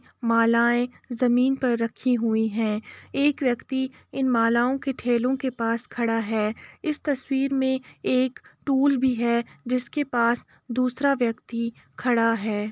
मालाएं जमीन पे रखी हुई है। एक व्यक्ति इन मालाओ के ठेलों के पास खड़ा है। इस तस्वीर में एक टूल भी है जिसके पास दूसरा व्यक्ति खड़ा है।